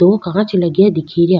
दो कांच लगया दिखे रिया।